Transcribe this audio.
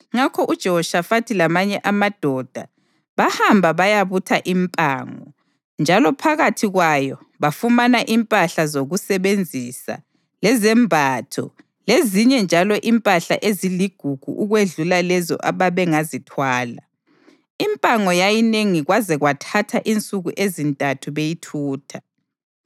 Ngakho uJehoshafathi lamanye amadoda bahamba bayabutha impango, njalo phakathi kwayo bafumana impahla zokusebenzisa lezembatho lezinye njalo impahla eziligugu ukwedlula lezo ababengazithwala. Impango yayinengi kwaze kwathatha insuku ezintathu beyithutha.